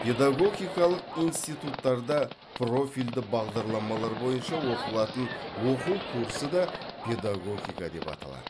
педагогикалық институттарда профильді бағдарламалар бойынша оқылатын оқу курсы да педагогика деп аталады